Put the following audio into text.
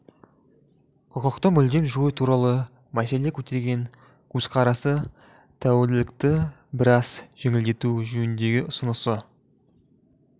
құқықты мүлдем жою туралы мәселе көтерген көзқарасы тәуелділікті біраз жеңілдету жөніндегі ұсынысы